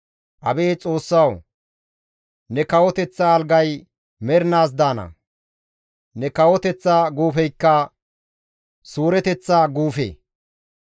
Abeet Xoossawu! Ne kawoteththa algay mernaas daana; ne kawoteththa guufeykka suureteththa guufe.